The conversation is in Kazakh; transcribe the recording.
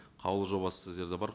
қаулы жобасы сіздерде бар